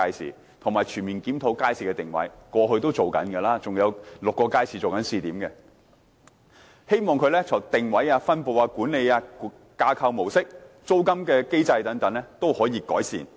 此外，當局會全面檢討街市的定位，這是過去正進行的，還有6個街市正在做試點，希望在定位、分布、管理、架構模式和租金機制等方面也作出改善。